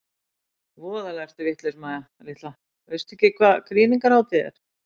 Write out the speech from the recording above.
Voðalega ertu vitlaus Mæja litla, veistu ekki hvað krýningarhátíð er?